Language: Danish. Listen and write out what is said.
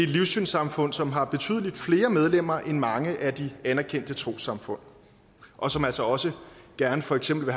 livssynssamfund som har betydelig flere medlemmer end mange af de anerkendte trossamfund og som altså også gerne for eksempel